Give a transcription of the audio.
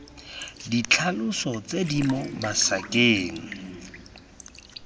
ditlhaloso tse di mo masakaneng